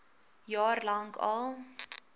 jaar lank al